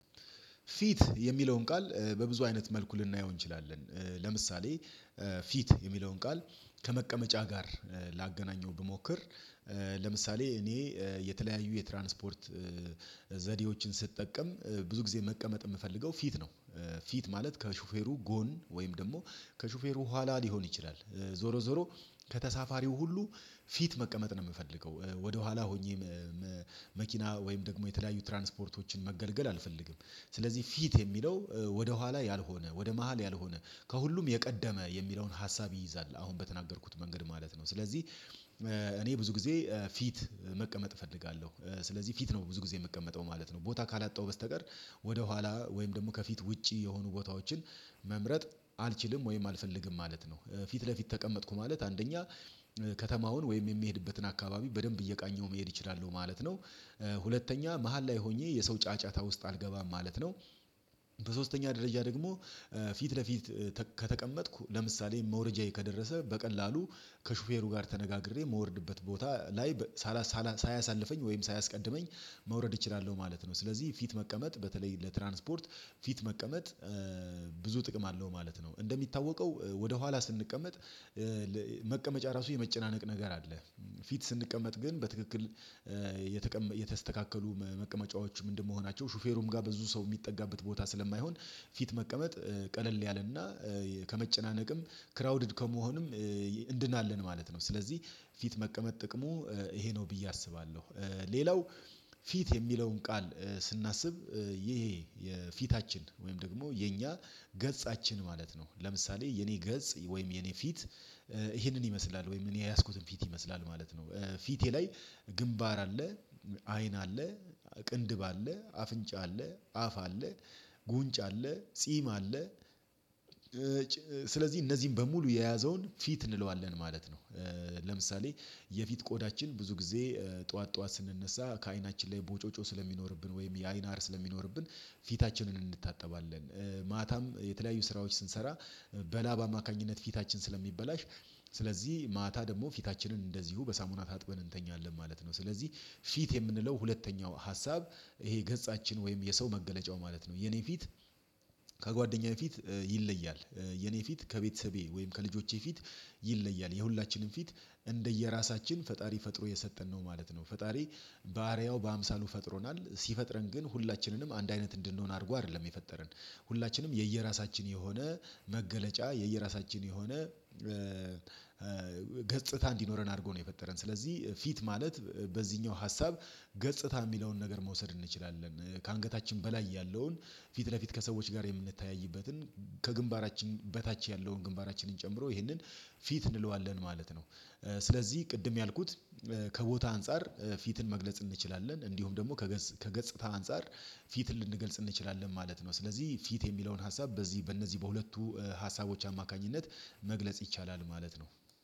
ፊት የሚለውን ቃል በብዙ አይነት መልኩ ልናየው እንችላለን። ለምሳሌ ፊት የሚለውን ቃል ከመቀመጫ ጋር ላገናኘው ብሞክር ለምሳሌ እኔ የተለያዩ የትራንስፖርት ዘዴዎችን ስትጠቀም ብዙ ጊዜ መቀመጥ የምፈልገው ፊት ነው። ፊት ማለት ከሹፌሩ ጎን ወይም ደግሞ ከሹፌሩ ኋላ ሊሆን ይችላል። ዞሮ ዞሮ ከተሳፋሪው ሁሉ ፊት መቀመጥ ነው የምፈልገው ወደኋላ ሆኜ መኪና ወይም ደግሞ የተለያዩ ትራንስፖርቶችን መገልገል አልፈልግም። ስለዚህ ፊት የሚለው ወደኋላ ያልሆነ ወደ መሃል ያልሆነ ከሁሉም የቀደመ የሚለውን ሀሳብ ይይዛል አሁን በተናገርኩት መንገድ ማለት ነው። ስለዚህ እኔ ብዙ ጊዜ ፊት መቀመጥ እፈልጋለሁ። ስለዚህ ፊት ነው ብዙ ጊዜ የምቀመጠው ማለት ነው። ቦታ ካላጣው በስተቀር ወደኋላ ወይም ደግሞ ከፊት ውጪ የሆኑ ቦታዎችን መምረጥ አልችልም ወይም አልፈልግም ማለት ነው። ፊት ለፊት ተቀመጥኩ ማለት አንደኛ ከተማውን ወይም የሚሄድበትን አካባቢ በደንብ እየቃኘው መሄድ እችላለሁ ማለት ነው። ሁለተኛ መሃል ላይ ሆኜ የሰው ጫጫታ ውስጥ አልገባም ማለት ነው። በሶስተኛ ደረጃ ደግሞ ፊት ለፊት ከተቀመጥኩ ለምሳሌ መውረጃዬ ከደረሰ በቀላሉ ከሹፌሩ ጋር ተነጋግሬ የምወርድበት ቦታ ላይ ሳላ ሳያሳልፈኝ ወይም ሳያስቀድመኝ መውረድ ማለት ነው። ስለዚህ ፊት መቀመጥ በተለይ ለትራንስፖርት ፊት መቀመጥ ብዙ ጥቅም አለው ማለት ነው። እንደሚታወቀው ወደ ኋላ ስንቀመጥ መቀመጫ ራሱ የመጨናነቅ ነገር አለ። ፊት ስንቀመጥ ግን በትክክል የተስተካከሉ መቀመጫዎቹ ምንድነው መሆናቸው ሹፌሩም ጋር በዙ ሰው የሚጠጋበት ቦታ ስለማይሆን ፊት መቀመጥ ቀለል ያለና ከመጨናነቅም ክራውድድ ከመሆንም እንድናለን ማለት ነው። ስለዚህ ፊት መቀመጥ ጥቅሙ ይሄ ነው ብዬ አስባለሁ። ሌላው ፊት የሚለውን ቃል ስናስብ ይሄ የፊታችን ወይም ደግሞ የኛ ገጻችን ማለት ነው። ለምሳሌ የኔ ገጽ ወይም የኔ ፊት ይሄንን ይመስላል ወይም እኔ የያዝኩትን ፊት ይመስላል ማለት ነው። ፊቴ ላይ ግንባር አለ አይን አለ ቅንድብ አለ አፍንጫ አለ አፍ አለ ጉንጭ አለ ጺም አለ። ስለዚህ እነዚህን በሙሉ የያዘውን ፊት እንለዋለን ማለት ነው። ለምሳሌ የፊት ቆዳችን ብዙ ጊዜ ጠዋት ጠዋት ስንነሳ ከአይናችን ላይ ቦጮጮ ስለሚኖርብን ወይም የአይን አር ስለሚኖርብን ፊታችንን እንድታጠባለን ማታም የተለያዩ ስራዎች ስንሰራ በላብ አማካኝነት ፊታችን ስለሚበላሽ ስለዚህ ማታ ደግሞ ፊታችንን እንደዚሁ በሳሙና ታጥበን እንተኛለን ማለት ነው። ስለዚህ ፊት የምንለው ሁለተኛው ሀሳብ ይሄ ገጻችን ወይም የሰው መገለጫው ማለት ነው። የኔ ፊት ከጓደኛዬ ፊት ይለያል። የኔ ፊት ከቤተሰቤ ወይም ከልጆቼ ፊት ይለያል። የሁላችንም ፊት እንደየራሳችን ፈጣሪ ፈጥሮ የሰጠን ነው ማለት ነው። ፈጣሪ ባሪያው በአምሳሉ ፈጥሮናል ሲፈጥረን ግን ሁላችንንም አንድ አይነት እንድንሆን አድርጎ አይደለም የፈጠረን። ሁላችንም የየራሳችን የሆነ መገለጫ የየራሳችን የሆነ ገጽታ እንዲኖረን አድርጎ ነው የፈጠረን። ስለዚህ ፊት ማለት በዚህኛው ሀሳብ ገጽታ የሚለውን ነገር መውሰድ እንችላለን። ከአንገታችን በላይ ያለውን ፊት ለፊት ከሰዎች ጋር የምንታይበትን ከግንባራችን በታች ያለውን ግንባራችንን ጨምሮ ይሄንን ፊት እንለዋለን ማለት ነው። ስለዚህ ቅድም ያልኩት ከቦታ አንፃር ፊትን መግለጽ እንችላለን እንዲሁም ደግሞ ከገጽታ አንፃር ፊትን ልንገልጽ እንችላለን ማለት ነው። ስለዚህ ፊት የሚለውን ሀሳብ በዚህ በእነዚህ በሁለቱ ሀሳቦች አማካኝነት መግለጽ ይቻላል ማለት ነው።